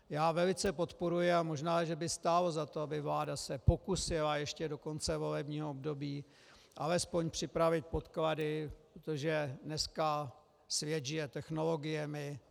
Já velice podporuji, a možná, že by stálo za to, aby se vláda pokusila ještě do konce volebního období alespoň připravit podklady, protože dneska svět žije technologiemi.